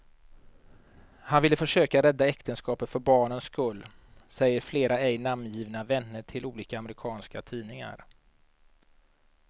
Han vill försöka rädda äktenskapet för barnens skull, säger flera ej namngivna vänner till olika amerikanska tidningar.